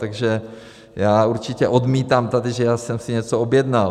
Takže já určitě odmítám tady, že já jsem si něco objednal.